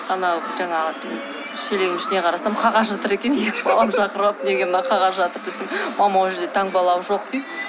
анау жаңағы шелегімнің ішіне қарасам қағаз жатыр екен екі баламды шақырып алып неге мына қағаз жатыр десем мама ол жерде таңбалауы жоқ дейді